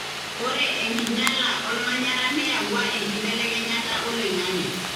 ore enkinyiala olmanyara neyawua enkibelekenyata oloingange.